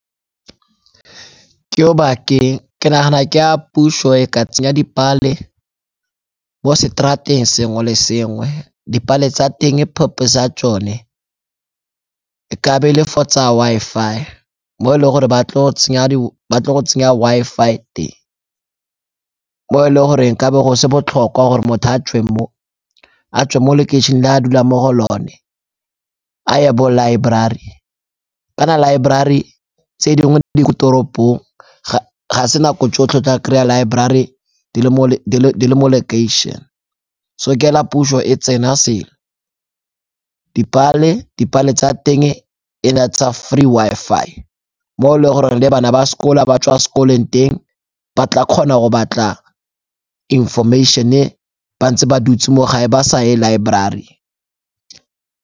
Ke Obakeng, ke nagana ke a puso ha e ka tsenya dipale mo seterateng sengwe le sengwe. Dipale tsa teng purpose ya tsone e ka be e le for tsa Wi-Fi mo e le gore ba tlo go tsenya Wi-Fi teng, mo e le goreng e ka be go se botlhokwa gore motho a tswe mo, a tswe mo lekeišeneng le a dulang mo go lone a ye bo laeborari kana laeborari tse dingwe di ko toropong, ga se nako tsotlhe tla kry-a laeborari di le mo lekeišene. So ke hela puso e tsena se. Dipale, dipale tsa teng e na tsa free Wi-Fi mo e le gore le bana ba sekolo ba tswa sekolong teng ba tla kgona go batla information-e ba ntse ba dutse mo gae ba saye laeborari.